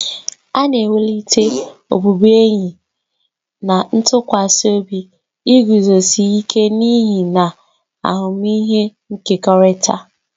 A na-ewulite ọbụbụenyi na ntụkwasị obi, iguzosi ike n'ihe, na ahụmịhe nkekọrịta.